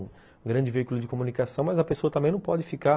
Um grande veículo de comunicação, mas a pessoa também não pode ficar